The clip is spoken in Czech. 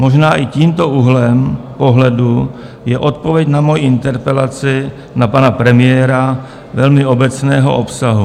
Možná i tímto úhlem pohledu je odpověď na moji interpelaci na pana premiéra velmi obecného obsahu.